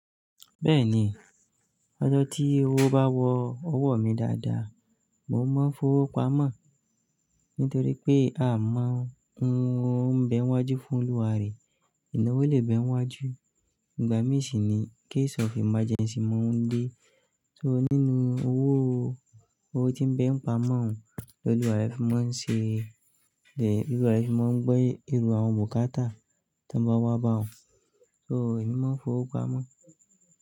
Bẹ́ẹ̀ni, lọ́jọ́ tí owó bá wọ ọwọ́ mi dáadáa, mò ń mọ fowó pamọ́. Nítorí pé a máa ń wo ń bẹ wájú fún oúwa rẹ̀, ìnáwó lè bẹ wájú. Ìgbà ni si ni, case of emergency ma n de. So nínú owó, owó tí ń bẹ pamọ́ lóluwa rẹ̀ fi máa ń ṣe. Lolúwa rẹ̀ fi máa ń gbé erú àwọn bukata tí wọ́n bá wá bá ọ. So èmi máa ń fowó pamọ́.